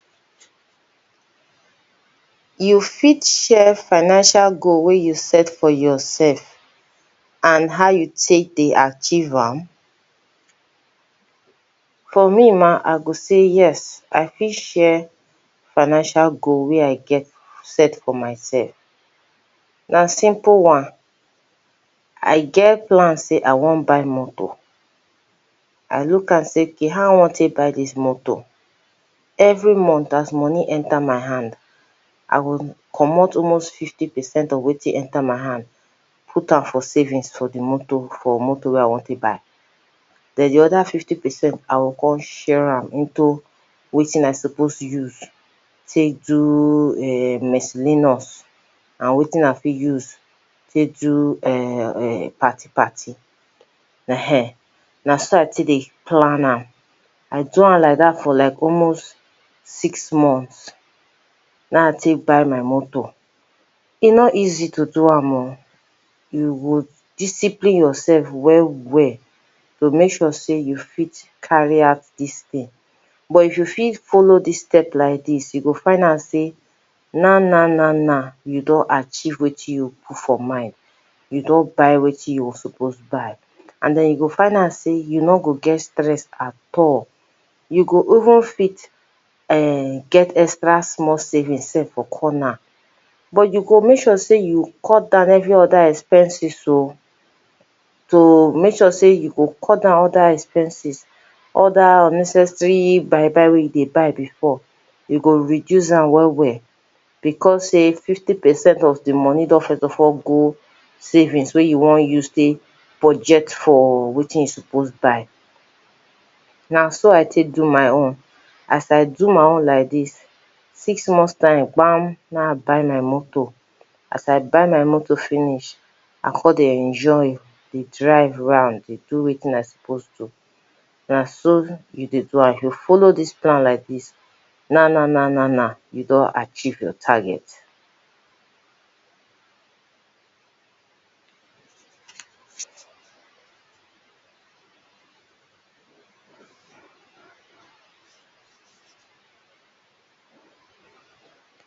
You fit share financial goal wey you set for yourself and how you take dey achieve am? For me mah, I go say ‘yes’. I fit share financial goal wey I set for myself. Na simple one! I get plan sey I wan buy moto. I look am say ‘okay’, how I wan take buy dis moto? Every month as money enter my hand, I go comot almost fifty percent of wetin enter my hand, put am for savings for the moto for moto wey I wan take buy. Den de other fifty percent, I go come share am into wetin I suppose use take do um mesillinus, and wetin I fit use take do um um party-party. um Na so I take dey plan am. I do am like dat for like almost six months, na I take buy my moto. E no easy to do am o! You go discipline yourself well-well to make sure sey you fit carry out dis thing. But if you go fit follow dis step like dis, you go find am sey naw naw-naw naw, you don achieve wetin you put for mind, you don buy wetin you suppose buy. And den you go find out sey you no go get stress at all. You go even fit um get extra small savings sef for corner. But you go make sure sey you cut down every other expenses o! To make sure sey you go cut down other expenses, other unnecessary buy-buy wey you dey buy before, you go reduce am well-well. Because sey fifty percent of the money don first of all go savings wey you wan use take budget for wetin you suppose buy. Na so I take do my own. As I do my own like dis, six months time, kpam! na I buy my moto. As I buy my moto finish, I come dey enjoy, dey drive round, dey do wetin I suppose do. Na so you dey do am. If you follow dis plan like dis, naw naw-naw naw-naw, you don achieve your target.